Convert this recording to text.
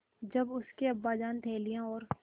जब उसके अब्बाजान थैलियाँ और